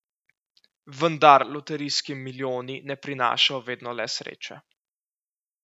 Vendar loterijski milijoni ne prinašajo vedno le sreče.